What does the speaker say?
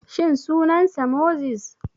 Shin sunan sa Moses?